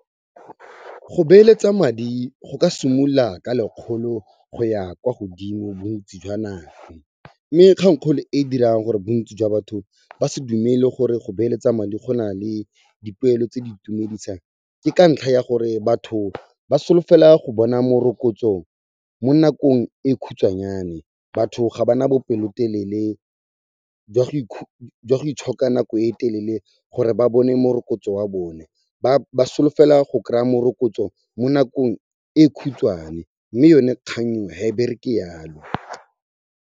Go beeletsa madi go ka simolola ka lekgolo go ya kwa godimo bontsi jwa madi, mme kgang-kgolo e dirang gore bontsi jwa batho ba se dumele gore go beeletsa madi go nale dipoelo tse di itumedisang, ke ka ntlha ya gore batho ba solofela go bona morokotso mo nakong e khutswanyane. Batho ga ba na bopelotelele jwa go itshoka nako e telele gore ba bone morokotso wa bone ba solofela go kry-a morokotso mo nakong e khutswane, mme yone kgang eo, ga e bereke yaalo.